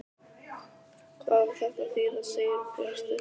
HVAÐ Á ÞETTA AÐ ÞÝÐA, SIGURBJARTUR?